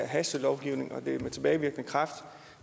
hastelovgivning og at det er med tilbagevirkende kraft